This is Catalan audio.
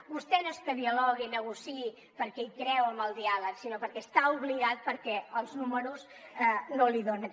vostè no és que dialogui i negociï perquè hi creu en el diàleg sinó perquè hi està obligat perquè els números no li donen